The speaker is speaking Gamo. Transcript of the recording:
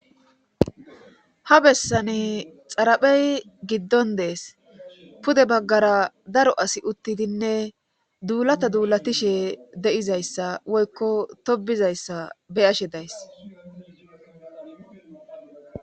ha bessani xaraphey giddon dees pude baggara daro asi uttidinne duulata duulatishe de7izayssa woykko tobizayssa beyashe days